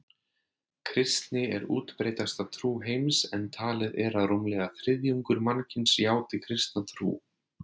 Kristni er útbreiddasta trú heims en talið er að rúmlega þriðjungur mannkyns játi kristna trú.